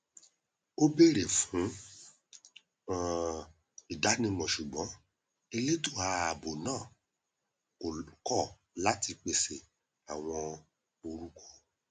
ó bèrè fún um ìdánimọ ṣùgbọn elétò ààbò náà kọ láti pèsè àwọn orúkọ